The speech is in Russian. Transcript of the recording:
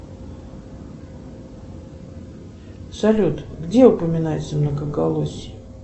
салют где упоминается многоголосье